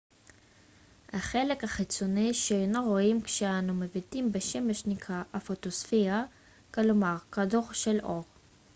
החלק החיצוני שאנו רואים כשאנו מביטים בשמש נקרא הפוטוספירה כלומר כדור של אור